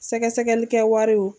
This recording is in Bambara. Sɛgɛsɛgɛli kɛ wariw